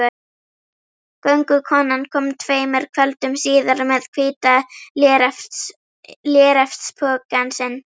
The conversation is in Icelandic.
Göngukonan kom tveimur kvöldum síðar með hvíta léreftspokann sinn.